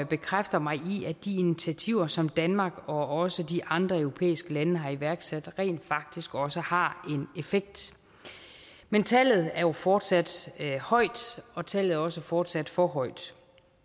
bekræfter mig i at de initiativer som danmark og også de andre europæiske lande har iværksat rent faktisk også har en effekt men tallet er fortsat højt og tallet er også fortsat for højt